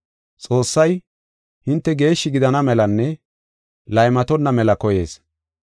Xoossay, hinte geeshshi gidana melanne laymatonna mela koyees.